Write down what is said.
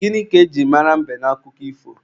Gịnị ka e jiri mara mbe n'akụkọ ifo?